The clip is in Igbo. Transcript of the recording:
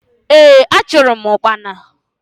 Ee! Achụrụ m ụkpana.